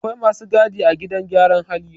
Akwai masu gadi a gidan gyaran hali